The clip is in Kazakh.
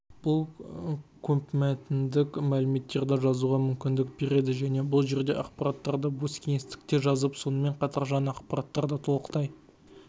бұл көпмәтіндік мәліметтерді жазуға мүмкіндік береді және бұл жерде ақпараттарды бос кеңістікке жазып сонымен қатар жаңа ақпараттарды толықтай